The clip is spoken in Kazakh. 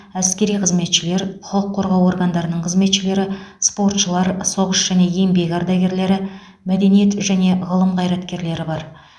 әскери қызметшілер құқық қорғау органдарының қызметкерлері спортшылар соғыс және еңбек ардагерлері мәдениет және ғылым қайраткерлері бар